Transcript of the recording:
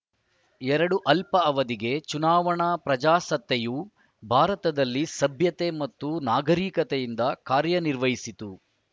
ಎರಡು ಅಲ್ಪ ಅವಧಿಗೆ ಚುನಾವಣಾ ಪ್ರಜಾಸತ್ತೆಯು ಭಾರತದಲ್ಲಿ ಸಭ್ಯತೆ ಮತ್ತು ನಾಗರಿಕತೆಯಿಂದ ಕಾರ್ಯನಿರ್ವಹಿಸಿತು